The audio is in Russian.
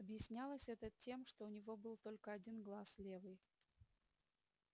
объяснялось это тем что у него был только один глаз левый